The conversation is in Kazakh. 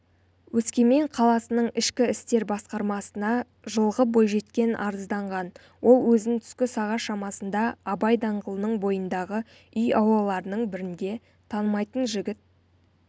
өскемен қаласының ішкі істер басқармасына жылғы бойжеткен арызданған ол өзін түскі сағат шамасында абай даңғылының бойындағы үй аулаларының бірінде танымайтын жігіт